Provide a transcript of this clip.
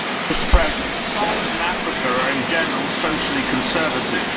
Mr President, societies in Africa are, in general, socially conservative.